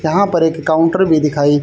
यहां पर एक काउंटर भी दिखाई--